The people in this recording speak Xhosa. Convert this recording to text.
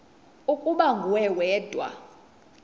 ukuba nguwe wedwa